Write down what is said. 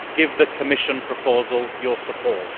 Give the Commission proposal your support.